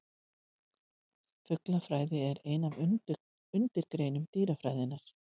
Fuglafræði er ein undirgrein dýrafræðinnar.